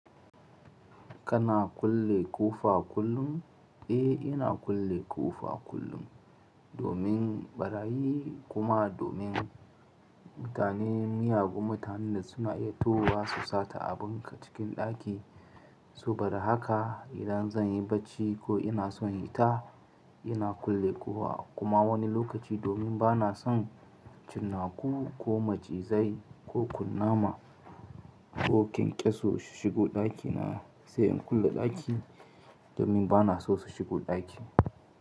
Kana kulle ƙofa kullum? Eh, ina kulle ƙofa kullum domin ɓarayi kuma domin mutane miyagun mutane suna iya towa su sata abunka cikin ɗaki. Sobada haka idan zan yi barci ko ina son hita ina kulle ƙofa kuma wani lokaci domin ba na son cinnaku ko macizai ko kunnama ko ƙyanƙyaso su shigo ɗakina sai in kulle ɗaki domin ba na so su shigo ɗaki.